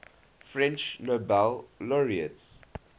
french nobel laureates